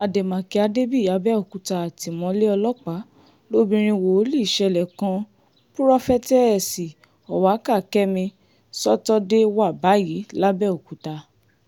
ademakin adebiyi abẹokuta atimọle ọlọpa lobinrin wooli ṣẹlẹ kan purọfẹtẹẹsi Owaka kẹmi sọtọde wa bayi labẹokuta